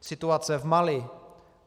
Situace v Mali.